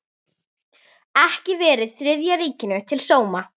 Ekki verið Þriðja ríkinu til sóma.